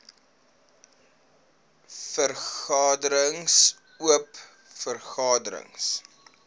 vergaderings oop vergaderings